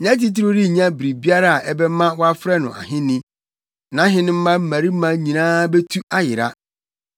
Nʼatitiriw rennya biribiara a ɛbɛma wɔafrɛ no ahenni, nʼahenemma mmarima nyinaa betu ayera.